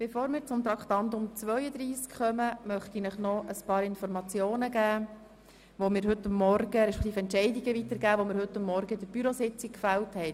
Bevor wir zu Traktandum 32 kommen, möchte ich Ihnen noch einige Informationen und Entscheidungen weitergeben, die wir heute Morgen anlässlich der Bürositzung gefällt haben.